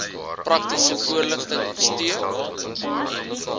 praktiese voorligting steun